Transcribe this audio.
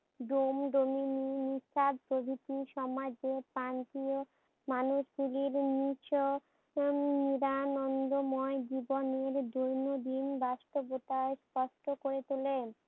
ডোম, ডোমিনি, নিষাদ প্রভৃতি সময় যে প্রান্তীয় মানুষগুলি এবং নিছক উম নিরানন্দময় জীবনের দৈন্য দিন বাস্তবতা স্পষ্ট করে তোলে।